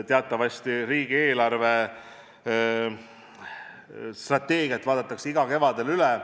Teatavasti vaadatakse riigi eelarvestrateegia igal kevadel üle.